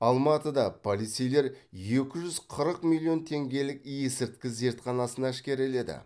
алматыда полицейлер екі жүз қырық миллион теңгелік есірткі зертханасын әшкереледі